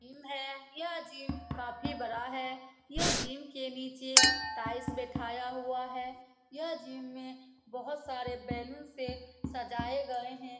Gym है यह gym काफी बड़ा है यह जिम के नीचे टाइल्स बिठाया हुआ है यह जिम में बहुत सारे बैलून से सजाये गए हैं ।